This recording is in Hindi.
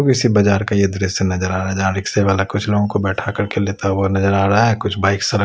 किसी बाजार का ये दृश्य नज़र आ रहा है जहाँ रिक्शेवाला कुछ लोगों को बैठा कर के लेगता हुआ नज़र आ रहा है कुछ बाइक सड़क --